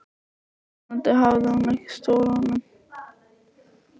Vonandi hafði hún ekki stolið honum.